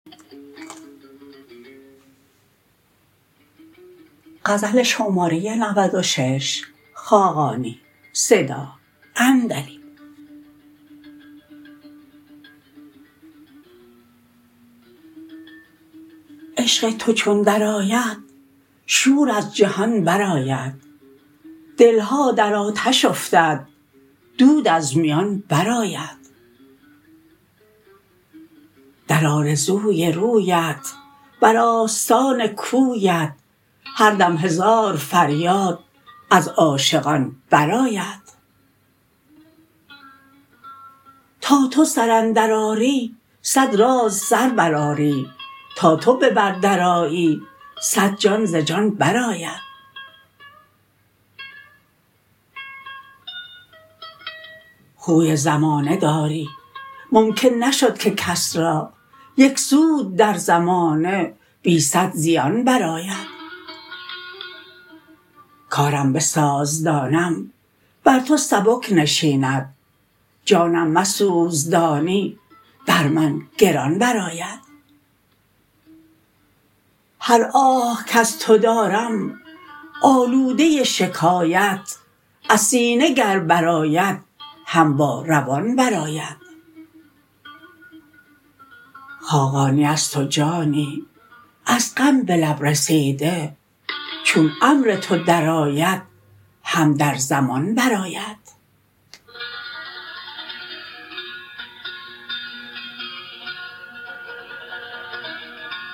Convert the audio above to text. عشق تو چون درآید شور از جهان برآید دل ها در آتش افتد دود از میان برآید در آرزوی رویت بر آستان کویت هر دم هزار فریاد از عاشقان برآید تا تو سر اندر آری صد راز سر برآری تا تو به بر درآیی صد دل ز جان برآید خوی زمانه داری ممکن نشد که کس را یک سود در زمانه بی صد زیان برآید کارم بساز دانم بر تو سبک نشیند جانم مسوز دانی بر من گران برآید هر آه کز تو دارم آلوده شکایت از سینه گر برآید هم با روان برآید خاقانی است و جانی از غم به لب رسیده چون امر تو درآید هم در زمان برآید